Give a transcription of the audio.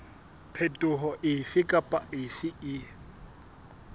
phetoho efe kapa efe e